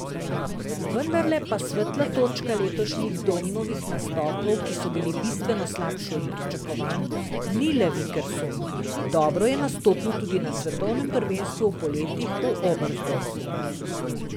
Vendarle pa svetla točka letošnjih Domnovih nastopov, ki so bili bistveno slabši od pričakovanj, ni le Vikersund, dobro je nastopil tudi na svetovnem prvenstvu v poletih v Oberstdorfu.